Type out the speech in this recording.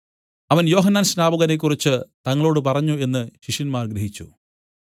അവൻ യോഹന്നാൻസ്നാപകനെക്കുറിച്ചു തങ്ങളോട് പറഞ്ഞു എന്നു ശിഷ്യന്മാർ ഗ്രഹിച്ചു